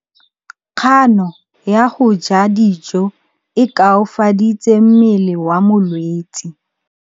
Kganô ya go ja dijo e koafaditse mmele wa molwetse.